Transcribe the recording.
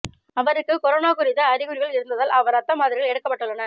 அவருக்கு கொரோனா குறித்த அறிகுறிகள் இருந்ததால் அவர் ரத்த மாதிரிகள் எடுக்கப்பட்டுள்ளன